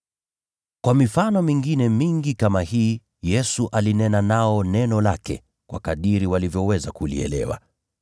Kwa mifano mingine mingi kama hii Yesu alinena nao neno lake, kwa kadiri walivyoweza kulielewa.